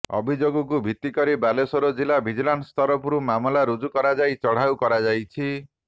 ଅଭିଯୋଗକୁ ଭିତ୍ତିକରି ବାଲେଶ୍ୱର ଜିଲ୍ଲା ଭିଜିଲାନ୍ସ ତରଫରୁ ମାମଲା ରୁଜୁ କରାଯାଇ ଚଢ଼ାଉ କରାଯାଉଛି